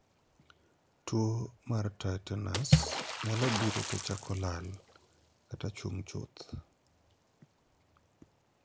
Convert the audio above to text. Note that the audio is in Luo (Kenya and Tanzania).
Tuo mar 'tinnitus' nyalo biro to chako lal, kata chung' chucth.